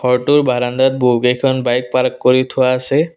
ঘৰটোৰ বাৰাণ্ডাত বহুকেইখন বাইক পাৰ্ক কৰি থোৱা আছে।